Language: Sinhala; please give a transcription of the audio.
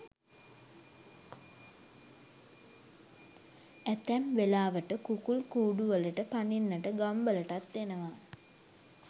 ඇතැම් වෙලාවට කුකුල් කූඩුවලට පනින්නට ගම්වලටත් එනවා.